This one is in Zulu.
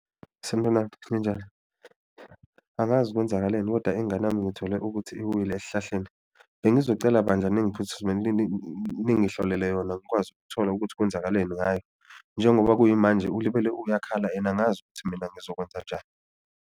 Sanibonani ninjani, angazi kwenzakaleni koda ingane yami ngithole ukuthi iwile esihlahleni, bengizocela bandla ningihlolelwe yona ngikwazi ukuthola ukuthi kwenzakaleni ngayo. Njengoba kuyimanje ulibele uyakhala and angazi ukuthi mina ngizokwenza njani.